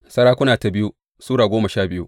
biyu Sarakuna Sura goma sha biyu